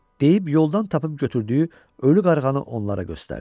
Deyib yoldan tapıb götürdüyü ölü qarğanı onlara göstərdi.